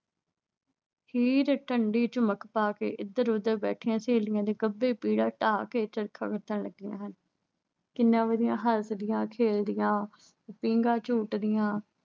ਢੰਡੀ ਝੁੰਮਕ ਪਾ ਕੇ ਇਧਰ ਉਧਰ ਸਹੇਲੀਆਂ ਤੇ ਬੈਠੀਆ ਗੱਬੇ ਪੀੜਾ ਡਾਹ ਕੇ ਚਰਖਾ ਕੱਤਣ ਲੱਗੀਆਂ ਹਨ। ਕਿੰਨੀਆਂ ਵਧੀਆ ਹਸਦੀਆਂ, ਖੇਡਦੀਆਂ, ਪੀਘਾਂ ਝੂਟਦੀਆਂ